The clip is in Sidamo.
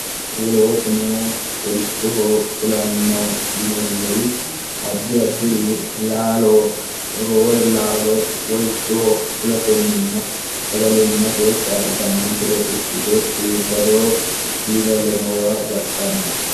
wolootuno worichoho fulanno yineemmuri addi addi'ri laalo roore laalo wolichoho fulatenninna sagalimmate kaaltannonkire ikkite iibbadoo diilallo noowa baxxanno